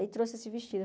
Aí trouxe esse vestido.